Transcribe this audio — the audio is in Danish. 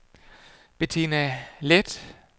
Bettina Leth